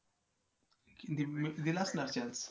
दिला असणार chance